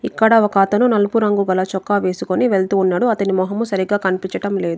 ఇక్కడ ఒక అతను నలుపురంగు గల చొక్కా వేసుకొని వెళ్తూ ఉన్నాడు అతని మొహము సరిగ్గా కనిపించడం లేదు.